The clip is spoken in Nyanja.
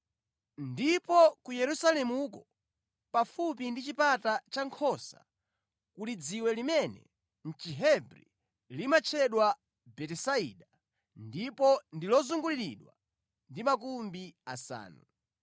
Ndipo ku Yerusalemuko pafupi ndi chipata cha Nkhosa kuli dziwe limene mʼChihebri limatchedwa Betisaida ndipo ndi lozunguliridwa ndi makumbi asanu.